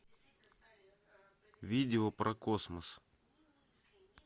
видео про космос